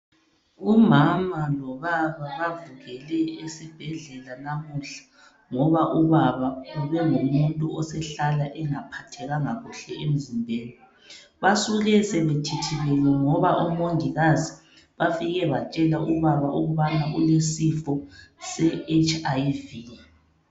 Umama lobaba bavukele esibhedlela namuhla ngoba ubaba ubengumuntu osehlala engaphathekanga kuhle emzimbeni, basuke sebethithibele ngoba omongikazi bafike batshela ubaba ukubana ulesifo se HIV.